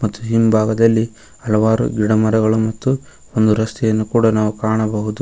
ಮತ್ತು ಹಿಂಭಾಗದಲ್ಲಿ ಹಲವಾರು ಗಿಡ ಮರಗಳು ಮತ್ತು ಒಂದು ರಸ್ತೆಯನ್ನು ಕೂಡ ನಾವು ಕಾಣಬಹುದು.